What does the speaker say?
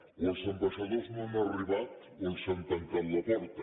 o els ambaixadors no han arribat o els han tancat la porta